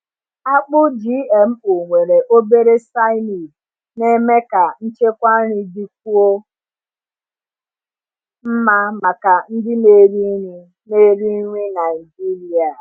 Akpụ GMO nwere obere cyanide na-eme ka nchekwa nri dịkwuo mma maka ndị na-eri nri na-eri nri Naijiria.